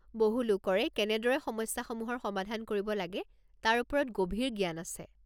বহু লোকৰে কেনেদৰে সমস্যাসমূহৰ সমাধান কৰিব লাগে তাৰ ওপৰত গভীৰ জ্ঞান আছে।